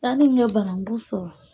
N'a tun ye banankun sɔrɔ